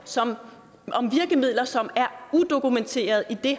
som er udokumenterede i det